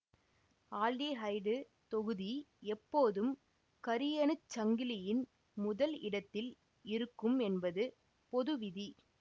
aldehyde தொகுதி எப்போதும் கரியணுச்சங்கிலியின் முதல் இடத்தில் இருக்கும் என்பது பொது விதி